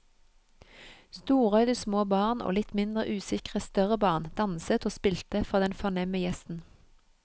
Storøyde små barn og litt mindre usikre større barn danset og spilte for den fornemme gjesten.